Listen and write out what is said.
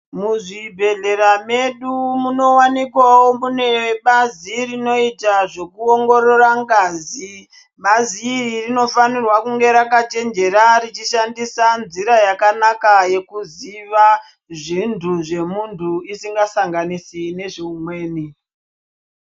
Muzvibhedhlera medu munowanikwawo mune bazi rinoita zvekuongorora ngazi. Bazi iri rinofanirwa kunge rakachenjera richishandisa nzira yakanaka yekuziva zvintu zvemunhu isingasanganisi neumweni.